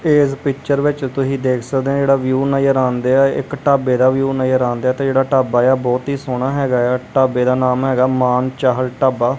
ਇੱਸ ਪਿਕਚਰ ਵਿੱਚ ਤੁਸੀ ਦੇਖ ਸਕਦੇਹਾਂ ਜਿਹੜਾ ਵਿਊ ਨਜ਼ਰ ਆਉਂਦੇਆ ਇੱਕ ਢਾਬੇ ਦਾ ਵਿਊ ਨਜ਼ਰ ਆਉਂਦੇਆ ਤੇ ਜਿਹੜਾ ਢਾਬਾ ਆ ਬਹੁਤ ਹੀ ਸੋਹਣਾ ਹੈਗਾ ਆ ਢਾਬੇ ਦਾ ਨਾਮ ਹੈਗਾ ਮਾਨ ਚਾਹਲ ਢਾਬਾ।